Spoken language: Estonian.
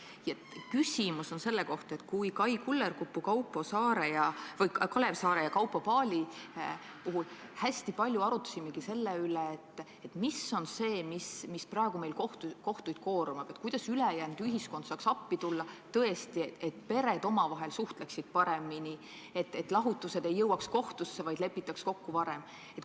Minu küsimus lähtub sellest, et me Kai Kullerkupu, Kalev Saare ja Kaupo Paali puhul hästi palju arutasimegi selle üle, mis meil praegu kohtuid koormab ja kuidas ülejäänud ühiskond saaks appi tulla, et pered saaksid omavahel paremini suheldud, et lahutused ei jõuaks kohtusse, vaid lepitaks kokku varem.